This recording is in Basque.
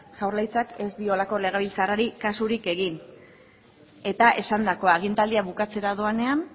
jaurlaritzak ez dio halako legebiltzarrari kasurik egin eta esandakoa agintaldia bukatzera doanean